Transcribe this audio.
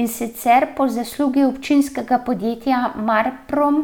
In sicer po zaslugi občinskega podjetja Marprom,